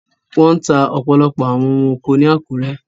Wọ́n ta ọ̀pọ̀lọpọ̀ àwọn ohun oko ni Àkúrẹ́.